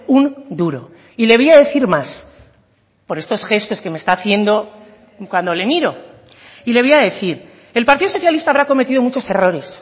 un duro y le voy a decir más por estos gestos que me está haciendo cuando le miro y le voy a decir el partido socialista habrá cometido muchos errores